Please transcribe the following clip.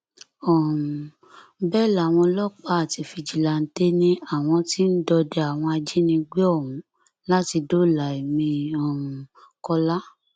um bẹẹ làwọn ọlọpàá àti fíjìláǹtẹ ni àwọn tí ń dọdẹ àwọn ajínigbé ọhún láti dóòlà ẹmí um kọlá